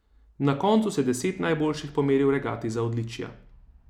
Na koncu se deset najboljših pomeri v regati za odličja.